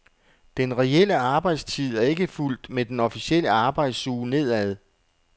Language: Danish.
Den reelle arbejdstid er ikke fulgt med den officielle arbejdsuge nedad.